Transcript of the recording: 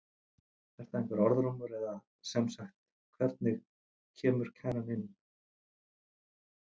Er það einhver orðrómur eða sem sagt hvernig kemur kæran inn?